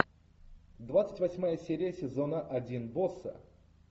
двадцать восьмая серия сезона один босса